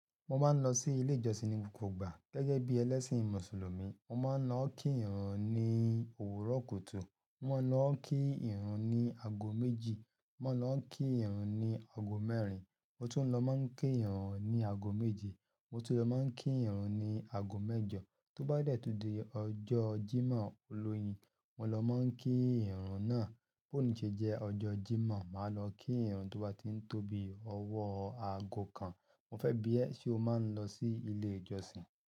Mo máa ń lọ sí ilé ìjọsìn ní gbogbo ìgbà. Gẹ́gẹ́ bí ẹlẹ́ṣìn Mùsùlùmí, mo máa ń lọọ́ kí ìrun ní òwúrọ̀ kùtù, mo mó ń lọ kí ìrun ní ago méjì, mo mó ń lọ kí ìrun ní agogo mẹ́rin, mo tún lọ máa ń kí ìrun ní ago méje, mo tún lọ máa ń kí ìrun ní ago mẹ́jọ. Tó bá dẹ́ tún di ọjọ́ Jímọ̀ olóyin, mo lọ máa ń kí ìrun náà. B’òní ṣe jẹ́ ọjọ́ Jímọ̀, màá lọ kí ìrun tó bá ti ń tóbi ọwọ́ ago kan. Mo fẹ́ bi ẹ́, ṣe o máa ń lọ sí ilé ìjọsìn?